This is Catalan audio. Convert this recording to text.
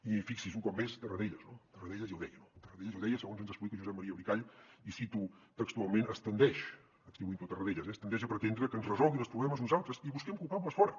i fixi’s un cop més tarradellas no tarradellas ja ho deia no tarradellas ja ho deia segons ens explica josep maria bricall i cito textualment es tendeix atribuint ho a tarradellas es tendeix a pretendre que ens resolguin els problemes uns altres i busquem culpables fora